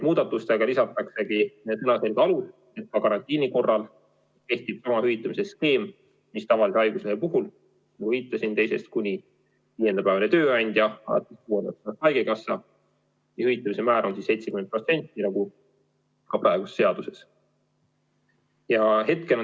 Muudatusega lisataksegi sõnaselge alus, et ka karantiini korral kehtib sama hüvitamise skeem, mis tavalise haiguse puhul: nagu viitasin, teisest kuni viienda päevani hüvitab tööandja, alates kuuendast päevast haigekassa ja hüvitamise määr on siis 70% nagu ka praeguses seaduses.